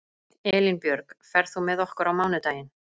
Elínbjörg, ferð þú með okkur á mánudaginn?